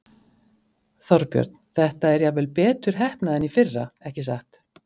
Þorbjörn: Þetta er jafnvel betur heppnað en í fyrra, ekki satt?